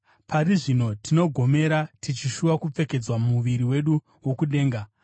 Pari zvino tinogomera, tichishuva kupfekedzwa muviri wedu wokudenga,